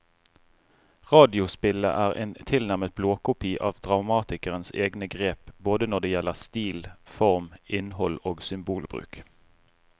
Radiospillet er en tilnærmet blåkopi av dramatikerens egne grep både når det gjelder stil, form, innhold og symbolbruk.